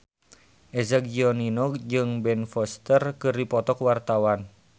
Eza Gionino jeung Ben Foster keur dipoto ku wartawan